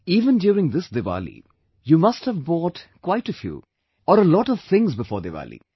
Even during this Diwali, you must have bought quite a few or a lot of things before Diwali